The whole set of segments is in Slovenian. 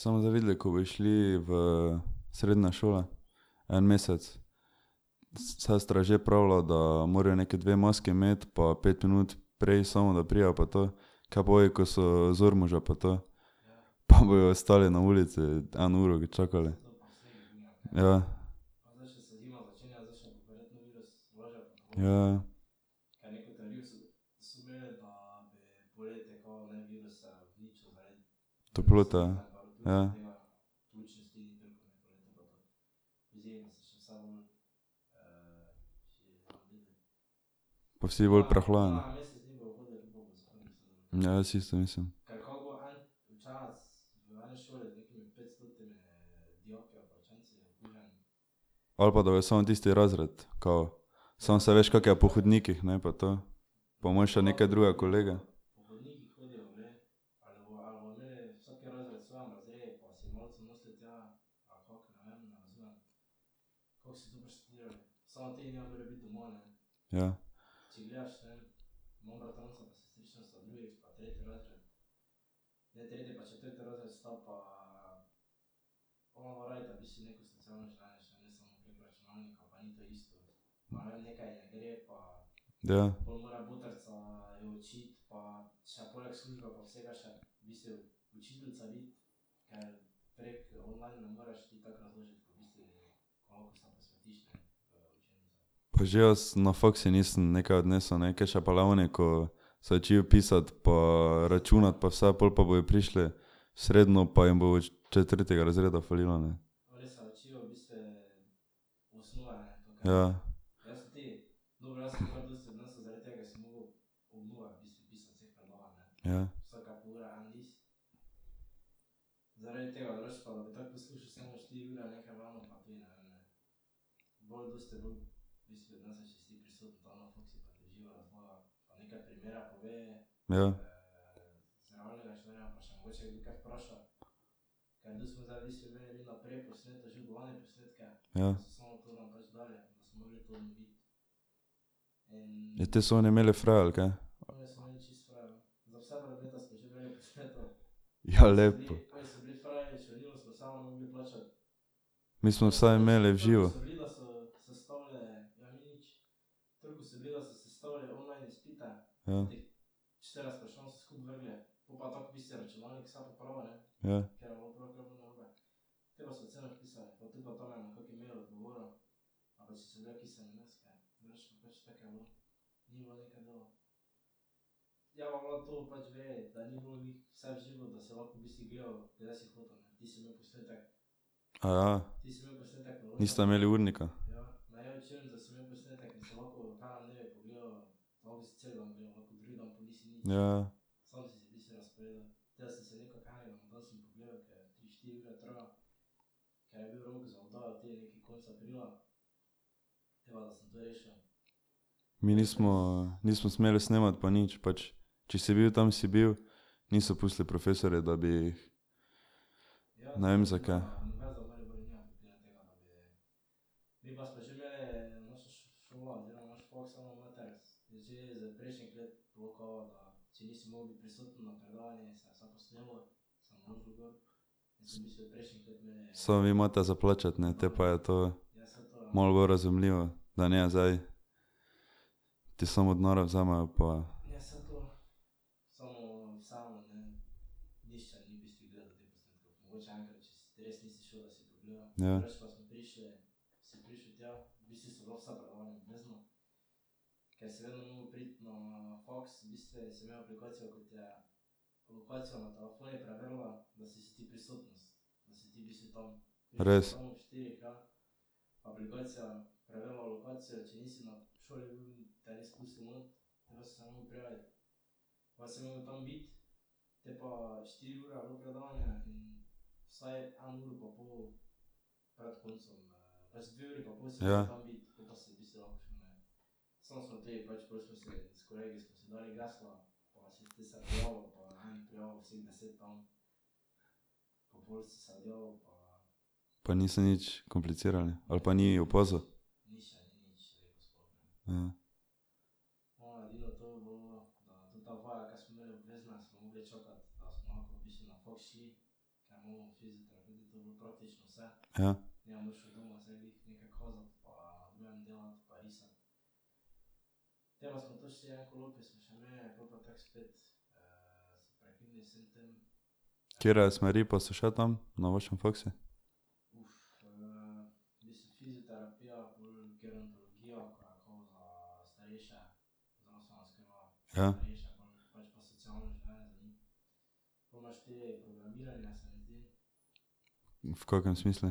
Saj bomo zdaj videli, ko bojo šli v srednje šole en mesec. Sestra je že pravila, da morajo neki dve maski imeti pa pet minut prej samo da pridejo, pa to. Kaj pa ovi, ko so iz Ormoža pa to? Pa bojo stali na ulici, eno uro ga čakali. Ja. Ja, ja. Toplota, ja. Pa vsi bolj prehlajeni. Ja, jaz isto mislim. Ali pa da bojo samo tisti razred, kao. Samo saj veš, kako je po hodnikih, ne, pa to. Pa imaš še neke druge kolege. Ja. Ja. Pa že jaz na faksu nisem nekaj odnesel, ne, kaj še pa le oni, ko se učijo pisati pa računati pa vse pol pa bojo prišli v srednjo pa jim bo četrtega razreda falilo, ne. Ja. Ja. Ja. Ja. Ja, te so oni imeli fraj, ali kaj. Ja, lepo. Mi smo vsaj imeli v živo. Ja. Ja. Aja. Niste imeli urnika. Ja, ja. Mi nismo, nismo smeli snemati pa nič, pač če si bil tam, si bil, niso pustili profesorji, da bi jih ... Ne vem, zakaj. Samo vi imate za plačati, ne, te pa je to malo bolj razumljivo, da ne zdaj ti samo denarje vzamejo pa ... Ja. Res. Ja. Pa niso nič komplicirali ali pa ni opazil. Ja. Katere smeri pa so še tam na vašem faksu? Ja. V kakem smislu?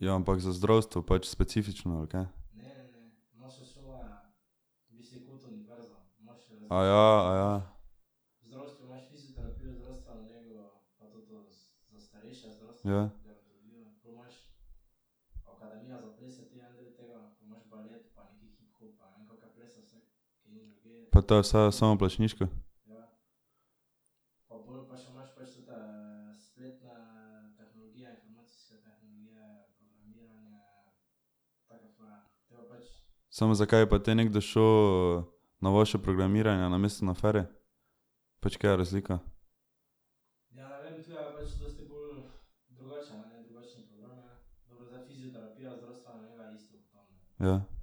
Ja, ampak za zdravstvo pač specifično, ali kaj? Aja, aja. Ja. Pa to je vse samoplačniško? Samo zakaj bi pa te nekdo šel na vaše programiranje namesto na Feri? Pač kje je razlika? Ja.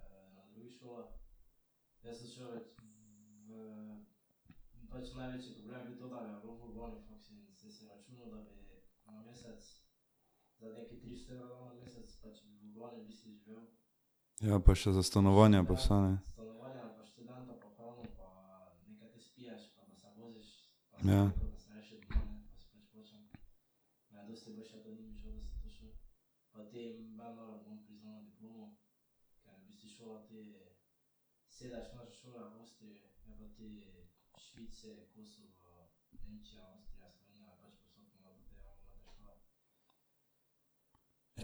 Ja, pa še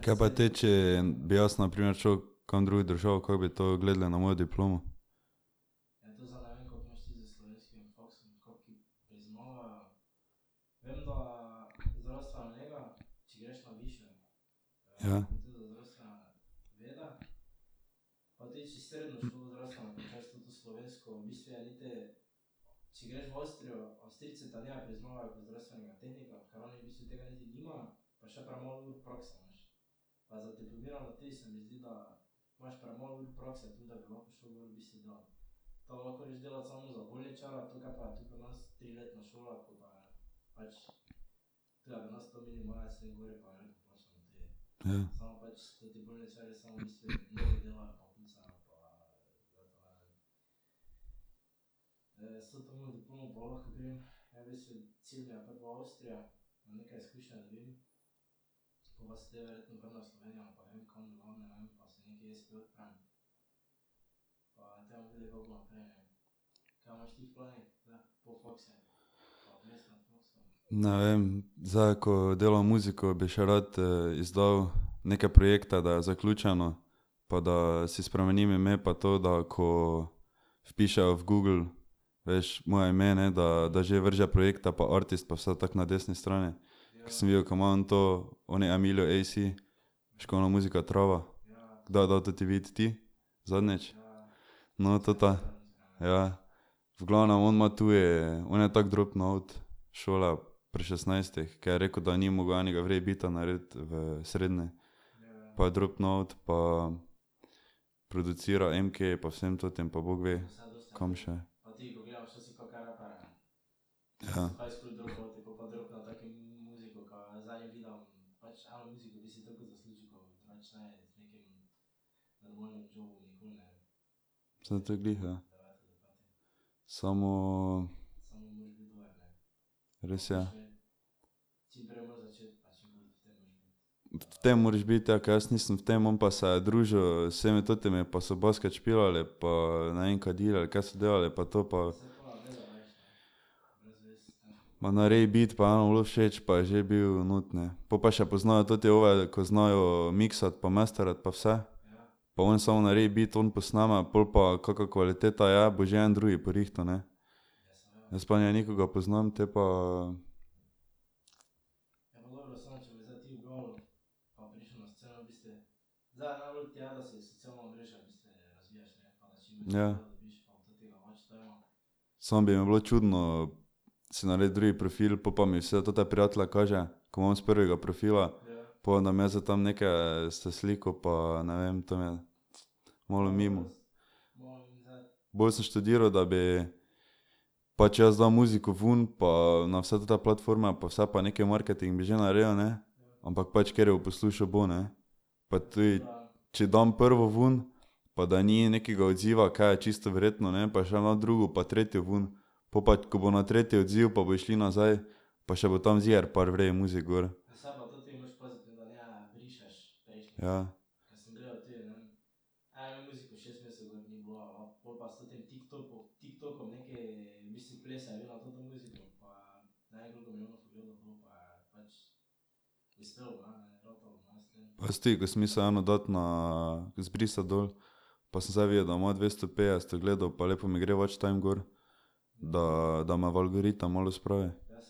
za stanovanje pa vse, ne. Ja. Kaj pa te, če bi jaz na primer šel kam drugo državo, kako bi to gledali na mojo diplomo? Ja. Ja. Ne vem, zdaj ko delam muziko, bi še rad izdal neke projekte, da je zaključeno, pa da si spremenim ime pa to, da ko vpišejo v Google, veš, moje ime, ne, da da že vrže projekte pa artist pa vse tako na desni strani. Ko sem videl, ko ima on to, oni Emiljo AC, veš, ko ona muzika Trava, kdo je dal ta vid, ti? Zadnjič? No, tota, ja. V glavnem on ima tudi, on je tako dropnil out šole pri šestnajstih, ko je rekel, da ni mogel enega v redu beata narediti v srednji. Pa je dropnil out pa prouducira Emkeju pa vsem tem pa bog ve komu še. Ja. Saj to glih, ja. Samo ... Res, ja. V tem moraš biti, ja, ker jaz nisem v tem, on pa se je družil z vsemi temi pa so basket špilali pa, ne vem, kadili, ali kaj so delali pa to pa ... Ma naredi beat pa enemu je bilo všeč pa je že bil notri, ne. Po pa še poznajo ti ove, ko znajo miksati pa masterati pa vse. Pa on samo naredi beat, on posname, pol pa kaka kvaliteta je, bo že en drugi porihtal, ne. Jaz pa ne nikogar poznam, te pa ... Ja. Samo bi mi bilo čudno si narediti drugi profil, pol pa mi vse tote prijatelje kaže, ko imam s prvega profila. Pol da bom jaz zdaj tam nekaj se slikal pa ne vem, to mi je ... Malo mimo. Bolj sem študiral, da bi pač jaz dal muziko vun pa na vse te platforme pa vse pa neki marketing bi že naredil, ne. Ampak pač kateri jo bo poslušal, bo, ne. Pa tudi, če dam prvo ven, pa da ni nekega odziva, kaj je čisto verjetno, ne, pa še eno drugo pa tretjo ven. Po pa, ko bo na tretjo odziv pa bojo šli nazaj pa še bo tam ziher par v redu muzik gor. Ja. Pa jaz tudi, ko sem mislil eno dati na, zbrisati dol, pa sem zdaj videl, da ima dvesto petdeset ogledov pa lepo mi gre watch time gor, da, da me v algoritem malo spravi. Ja.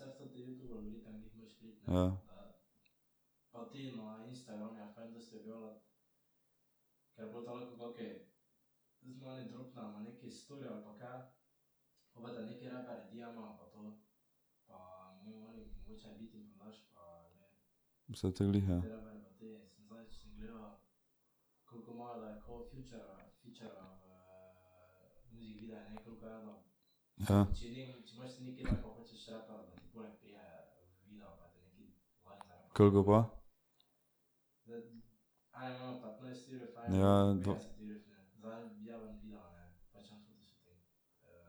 Saj to glih, ja. Ja. Koliko pa? Ja, ja, dva.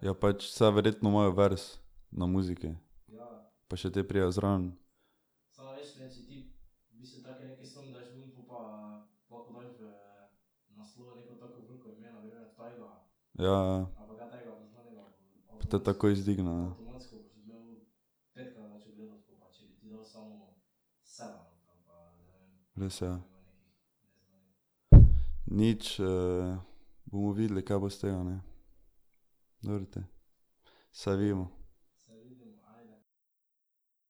Ja, pač, saj verjetno imajo vers na muziki pa še te pridejo zraven. Ja, ja. Pa te takoj vzdigne, ne. Res, ja. Nič, bomo videli, kaj bo iz tega, ne. Dobro te. Se vidimo.